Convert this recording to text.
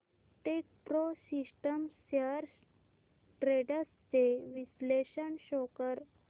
Techpro systems shares trends चे विश्लेषण show कर